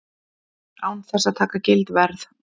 Án þess að taka gild veð.